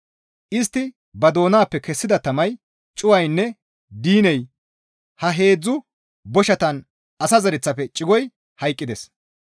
Istti ba doonappe kessida tamay cuwaynne diiney ha heedzdzu boshatan asa zereththafe cigoy hayqqides.